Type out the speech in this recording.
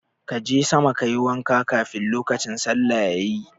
Ka je sama ka yi wanka kafin lokacin sallah yayi.